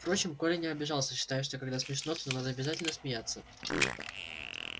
впрочем коля не обижался считая что когда смешно то надо обязательно смеяться